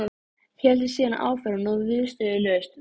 Nálægðin við rætingu óskanna er honum óbærileg